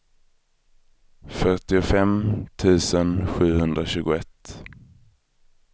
fyrtiofem tusen sjuhundratjugoett